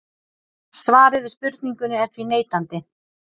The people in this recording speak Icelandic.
Svarið við spurningunni er því neitandi.